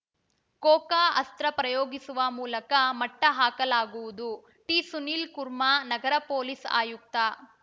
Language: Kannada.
ಕೋಕಾ ಅಸ್ತ್ರ ಪ್ರಯೋಗಿಸುವ ಮೂಲಕ ಮಟ್ಟಹಾಕಲಾಗುವುದು ಟಿಸುನೀಲ್‌ ಕುರ್ಮಾ ನಗರ ಪೊಲೀಸ್‌ ಆಯುಕ್ತ